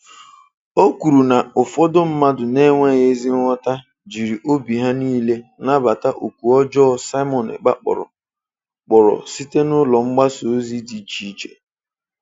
O kwuru na ụfọdụ mmadụ na-enweghị ezi nghọta jiri obi ha niile nabata oku ọjọọ Simon Ekpa kpọrọ kpọrọ site n'ụlọ mgbasaozi dị iche iche.